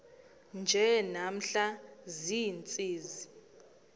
nje namhla ziintsizi